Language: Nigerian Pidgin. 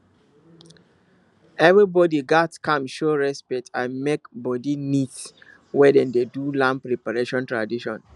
everybody gats calm show respect and make body neat when dem dey do land preparation tradition